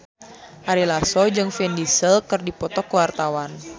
Ari Lasso jeung Vin Diesel keur dipoto ku wartawan